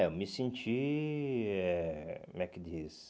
É, eu me senti... eh Como é que diz?